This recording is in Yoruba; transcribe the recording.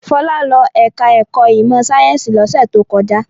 Fọlá lọ ẹ̀ka-ẹ̀kọ́ ìmọ̀-sáyẹ́ńsì lọ́sẹ̀ tó kọjá.